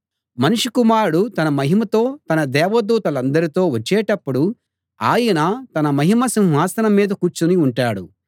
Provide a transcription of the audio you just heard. మనుష్య కుమారుడు తన మహిమతో తన దేవదూతలందరితో వచ్చేటప్పుడు ఆయన తన మహిమ సింహాసనం మీద కూర్చుని ఉంటాడు